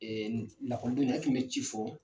Ɛɛ lakɔlidenw ye, e kun be ci fɔ